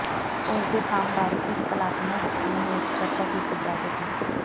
ਉਸ ਦੇ ਕੰਮ ਬਾਰੇ ਇਸ ਕਲਾਤਮਕ ਫਿਲਮ ਵਿਚ ਚਰਚਾ ਕੀਤੀ ਜਾਵੇਗੀ